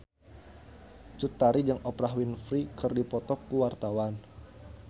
Cut Tari jeung Oprah Winfrey keur dipoto ku wartawan